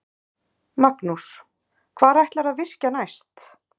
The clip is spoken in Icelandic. Magnús: Hvar ætlarðu að virkja næst?